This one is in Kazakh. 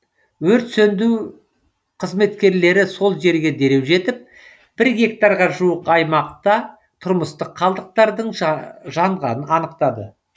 өрт сөнду қызметкерлері сол жерге дереу жетіп бір гектарға жуық аймақта тұрмыстық қалдықтардың жанғанын анықтады